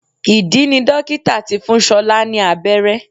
Ìdí ni dókítà tí fún ṣọlá ní abẹ́rẹ́